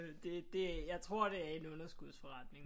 Det det jeg tror det er en underskudsforretning